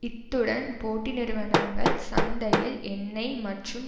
இத்துடன் போட்டி நிறுவனங்கள் சந்தையில் எண்ணெய் மற்றும்